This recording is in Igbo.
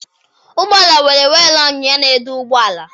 Ụgbọala nwere wiilu ọnyịnya na edu ụgbọala.